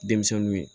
Denmisɛnninw ye